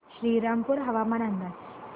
श्रीरामपूर हवामान अंदाज